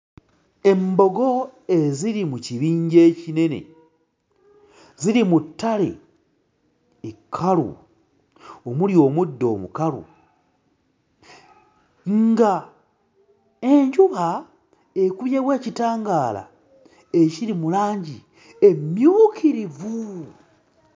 Embogo eziri mu kibinja ekinene ziri mu ttale ekkalu omuli omuddo omukalu, ng'enjuba ekubyewo ekitangaala ekiri mu langi emmyukirivu.